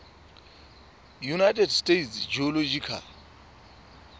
united states geological